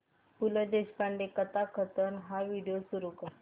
पु ल देशपांडे कथाकथन हा व्हिडिओ सुरू कर